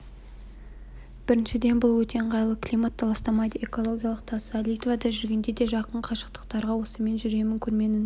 біріншіден бұл өте ыңғайлы климатты ластамайды экологиялық таза литвада жүргенде де жақын қашықтықтарға осымен жүремін көрменің